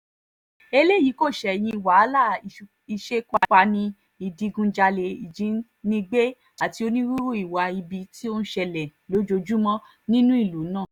eléyìí kò ṣẹ̀yìn wàhálà ìṣekúpani ìdígunjalè ìjínigbé àti onírúurú ìwà ibi tó ń ṣẹlẹ̀ lójoojúmọ́ nínú ìlú náà